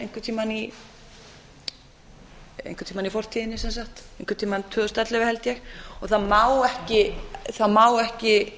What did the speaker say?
einhvern tíma í fortíðinni sem sagt einhvern tíma tvö þúsund og ellefu held ég og það má ekki